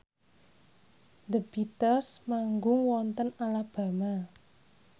The Beatles manggung wonten Alabama